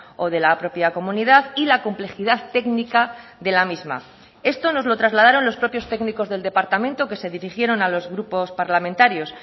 o de la propia comunidad y la complejidad técnica de la misma esto nos lo trasladaron los propios técnicos del departamento que se dirigieron a los grupos parlamentarios